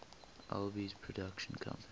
alby's production company